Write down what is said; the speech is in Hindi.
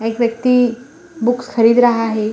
हई व्यक्ति बुक्स खरीद रहा है।